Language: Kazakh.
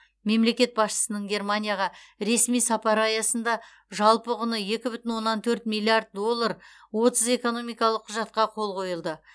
мемлекет басшысының германияға ресми сапары аясында жалпы құны екі бүтін оннан төрт миллиард доллар отыз экономикалық құжатқа қол қойылды